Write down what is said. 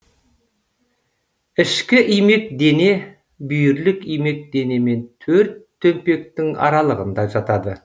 ішкі имек дене бүйірлік имек дене мен төрт төмпектің аралығында жатады